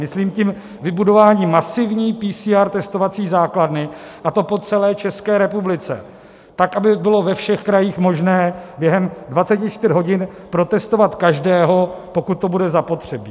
Myslím tím vybudování masivní PCR testovací základny, a to po celé České republice, tak aby bylo ve všech krajích možné během 24 hodin protestovat každého, pokud to bude zapotřebí.